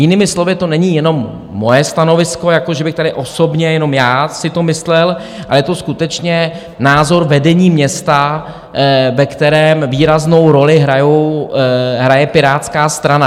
Jinými slovy, to není jenom moje stanovisko, že bych tady osobně jenom já si to myslel, ale je to skutečně názor vedení města, ve kterém výraznou roli hraje Pirátská strana.